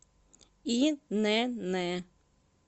инн